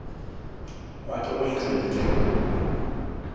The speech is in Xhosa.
wakhe oyingcwele njengoko